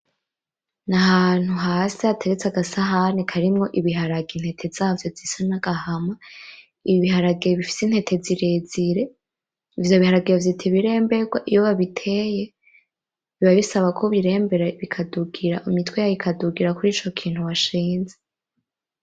N'ahantu hasi hateretse agasahani karimwo ibiharage intete zavyo bisa nk'agahama ,Ibiharage bifise intete zirezire ,ivyo b'Iharage bavyita ibiremberwa iyo babiteye biba bisa ko babirembera imitwe yazo ikadugira kur Ico kintu washinze.